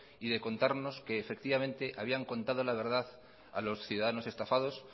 y de contarnos que habían contado la verdad a los ciudadanos estafados